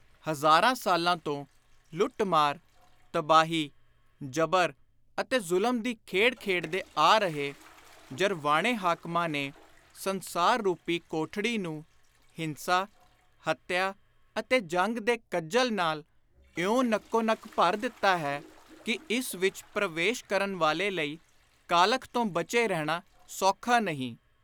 ਹਜ਼ਾਰਾਂ ਸਾਲਾਂ ਤੋਂ ਲੁੱਟ-ਮਾਰ, ਤਬਾਹੀ, ਜਬਰ ਅਤੇ ਜ਼ੁਲਮ ਦੀ ਖੇਡ ਖੇਡਦੇ ਆ ਰਹੇ ਜਰਵਾਣੇ ਹਾਕਮਾਂ ਨੇ ਸੰਸਾਰ ਰੂਪੀ ਕੋਠੜੀ ਨੂੰ ਹਿੰਸਾ, ਹੱਤਿਆ ਅਤੇ ਜੰਗ ਦੇ ਕੱਜਲ ਨਾਲ ਇਉਂ ਨੱਕੋ ਨੱਕ ਭਰ ਦਿੱਤਾ ਹੈ ਕਿ ਇਸ ਵਿਚ ਪਰਵੇਸ਼ ਕਰਨ ਵਾਲੇ ਲਈ ਕਾਲਖ ਤੋਂ ਬਚੇ ਰਹਿਣਾ ਸੋਖਾ ਨਹੀਂ।